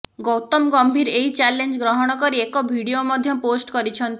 ଗୌତମ ଗମ୍ଭୀର ଏହି ଚାଲେଞ୍ଜ ଗ୍ରହଣ କରି ଏକ ଭଡିଓ ମଧ୍ୟ ପୋଷ୍ଟ କରିଛନ୍ତି